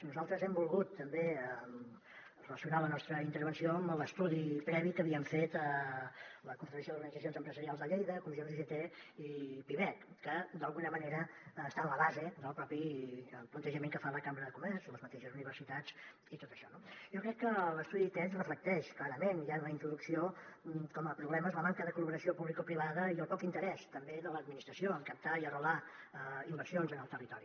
nosaltres hem volgut també relacionar la nostra intervenció amb l’estudi previ que havien fet la confederació d’organitzacions empresarials de lleida comissions ugt i pimec que d’alguna manera està en la base del propi plantejament que fa la cambra de comerç i les mateixes universitats i tot això no jo crec que l’estudi aquest reflecteix clarament ja en la introducció com a problemes la manca de col·laboració publicoprivada i el poc interès també de l’administració en captar i arrelar inversions en el territori